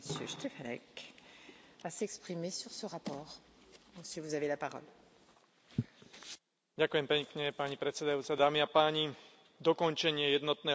Ďakujem pekne, pani predsedajúca, dámy a páni, dokončenie jednotného trhu v oblasti tovarov a služieb je jednou z kľúčových priorít Európskej únie v ekonomickej oblasti.